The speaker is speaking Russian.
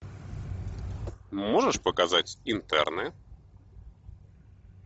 можешь показать интерны